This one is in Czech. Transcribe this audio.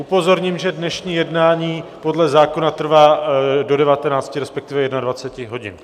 Upozorním, že dnešní jednání podle zákona trvá do 19, respektive 21 hodin.